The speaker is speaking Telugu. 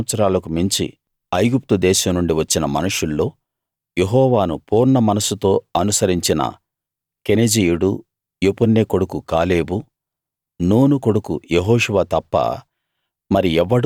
ఇరవై సంవత్సరాలకు మించి ఐగుప్తుదేశం నుండి వచ్చిన మనుషుల్లో యెహోవాను పూర్ణ మనస్సుతో అనుసరించిన కెనెజీయుడు యెఫున్నె కొడుకు కాలేబు నూను కొడుకు యెహోషువ తప్ప